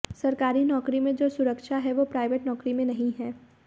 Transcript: सरकारी नौकरी में जो सुरक्षा है वो प्राइवेट नौकरी में नहीं है